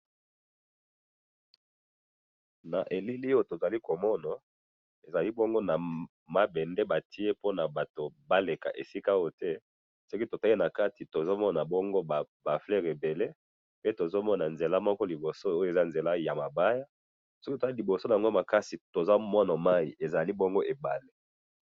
na elili oyo tozali komona ezali bongo na mabende batie pe na batu baleka esika oyo te, soki totali nakati, tozomona bongo ba fluers ebele, pe tozomona nzela moko liboso oyo, eza nzela ya mabaya, soki totali liboso yango makasi, tozomona wana mayi ezali bongo ebali